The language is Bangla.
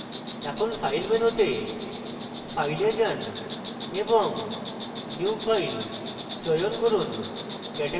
এখন file menu তে file এ যান এবং new file চয়ন করুন